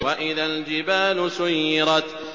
وَإِذَا الْجِبَالُ سُيِّرَتْ